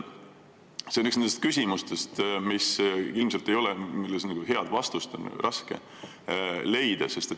See on üks nendest küsimustest, millele ilmselt head vastust on raske leida.